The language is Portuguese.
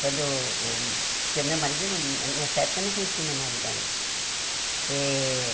Quando o... Porque o meu marido, não nessa época, eu não conhecia o meu marido ainda eh.